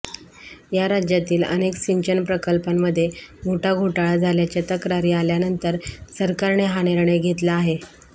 राज्यातील अनेक सिंचन प्रकल्पांमध्ये मोठा घोटाळा झाल्याच्या तक्रारी आल्यानंतर सरकारने हा निर्णय घेतला आहे